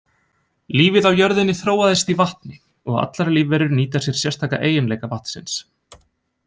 Lífið á jörðinni þróaðist í vatni og allar lífverur nýta sér sérstaka eiginleika vatnsins.